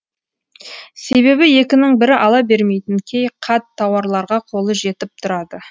себебі екінің бірі ала бермейтін кей қат тауарларға қолы жетіп тұрады